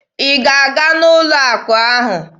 Ị ga-aga n'ụlọ akụ ahụ!